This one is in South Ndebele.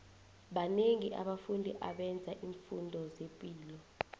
banengi abafundi abenzo imfundo zepilo